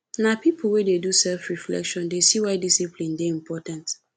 na pipo wey dey do selfreflection dey see why discipline dey important